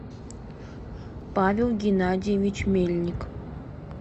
павел геннадьевич мельник